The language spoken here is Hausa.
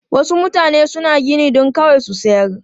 Wasu mutane suna gini don kawai su sayar.